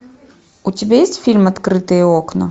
у тебя есть фильм открытые окна